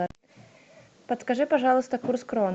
подскажи пожалуйста курс крон